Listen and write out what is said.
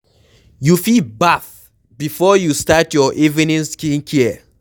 You fit bath before you start your evening skin care